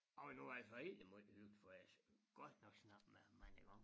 Og nu var det altså egentlig måj hyggelig for altså har godt nok snakket med ham mange gange